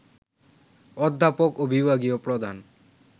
অধ্যাপক এবং বিভাগীয় প্রধান